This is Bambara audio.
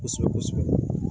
Kosɛbɛ kosɛbɛ